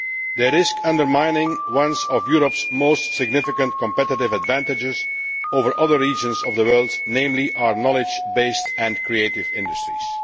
They risk undermining one of Europe's most significant competitive advantages over other regions of the world, namely our knowledge based and creative industries.